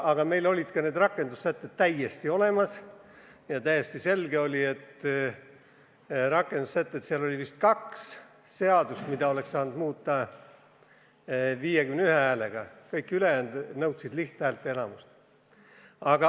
Aga meil olid ka need rakendussätted täiesti olemas ja täiesti selge oli, et kuigi seal oli vist kaks seadust, mida oleks saanud muuta vähemalt 51 häälega, kõik ülejäänud nõudsid lihthäälteenamust.